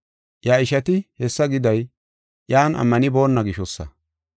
Iya ishati hessa giday iyan ammanibona gishosa.